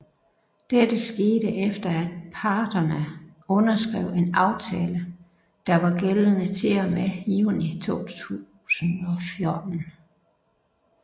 Dette skete efter af parterne underskrev en aftale der var gældende til og med juni 2014